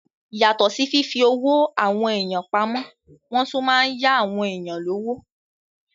Yàtọ̀ sí fífi owó àwọn èèyàn pamọ́, wọ́n tún má n yá àwọn èèyàn lówó